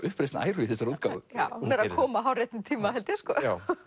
uppreisn æru í þessari útgáfu hún er að koma hárréttum tíma held ég sko